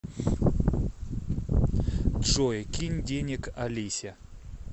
джой кинь денег алисе